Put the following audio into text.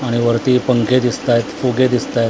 आणि वरती पंखे दिसतायेत फुगे दिसतायेत.